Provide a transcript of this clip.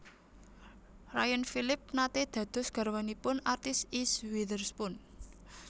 Ryan Phillippe nate dados garwanipun artis Eese Witherspoon